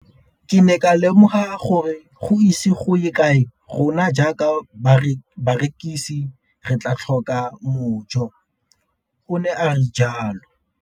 Ke ne ka lemoga gore go ise go ye kae rona jaaka barekise re tla tlhoka mojo, o ne a re jalo.